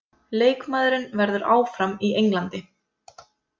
Leikmaðurinn verður áfram í Englandi